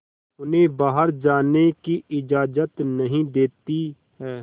उन्हें बाहर जाने की इजाज़त नहीं देती है